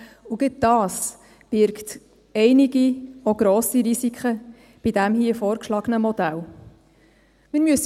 Dies birgt bei dem hier vorgeschlagenen Modell einige, auch grosse Risiken.